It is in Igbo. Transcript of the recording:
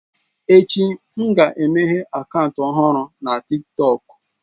Echi, m ga-emeghe akaụntụ ọhụrụ na TikTọk.